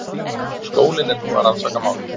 Skólinn er nú að rannsaka málið